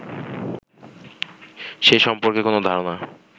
সে সম্পর্কে কোন ধারণা